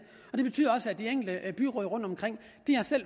og det betyder også at de enkelte byråd rundtomkring har